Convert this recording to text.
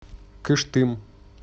кыштым